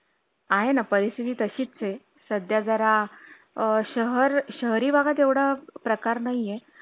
आहे ना परिस्थिती तशीच चे सध्या जरा अ शहर शहरी भागात एवढा प्रकार नाही ये